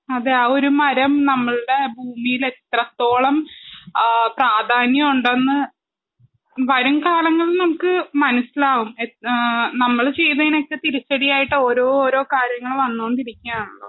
അതെ ആ ഒരു മരം നമ്മൾടെ ഭൂമീലെത്രത്തോളം ആ പ്രാധാന്യമുണ്ടെന്ന് വരും കാലങ്ങൾല് നമുക്ക് മനസ്സിലാവും എന്താ നമ്മള് ചെയ്തീനൊക്കെ തിരിച്ചടിയായിട്ടോരോരോ കാര്യങ്ങളും വന്നോണ്ടിരിക്കാണല്ലോ